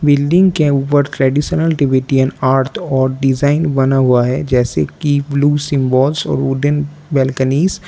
Building के ऊपर traditional Tibetan art और डिजाइन बना हुआ है जैसे कि ब्लू सिंबोल्स और वुडन बैलकॉनीज ।